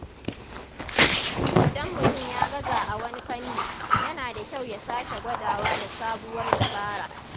Idan mutum ya gaza a wani fanni, yana da kyau ya sake gwadawa da sabuwar dabara.